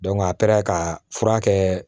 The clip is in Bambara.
a taara ka fura kɛ